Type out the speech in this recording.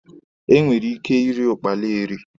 E nwere ike iri ụkpala eri.